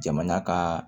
Jamana ka